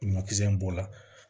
Ɲɔkisɛ in b'o la